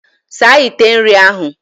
Saa ite nri ahụ!